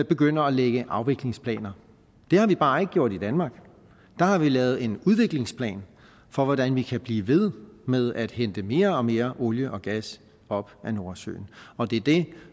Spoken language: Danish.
begynde at lægge afviklingsplaner det har vi bare ikke gjort i danmark for der har vi lavet en udviklingsplan for hvordan vi kan blive ved med at hente mere og mere olie og gas op af nordsøen og det er det